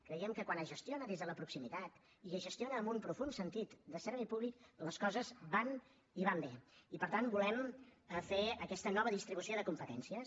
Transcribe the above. creiem que quan es gestiona des de la proximitat i es gestiona amb un profund sentit de servei públic les coses van i van bé i per tant volem fer aquesta nova distribució de competències